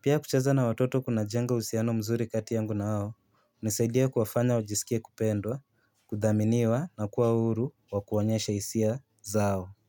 Pia kuchaza na watoto kunajenga uhusiano mzuri kati yangu na hao, inanisaidia kuwafanya wajisikie kupendwa, kuthaminiwa na kuwa huru wa kuonyesha hisia zao.